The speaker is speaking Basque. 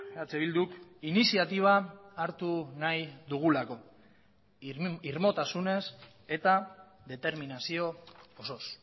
eh bilduk iniziatiba hartu nahi dugulako irmotasunez eta determinazio osoz